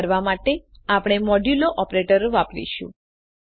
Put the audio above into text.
તે કરવા માટે આપણે મોડ્યુલો ઓપરેટર વાપરીશું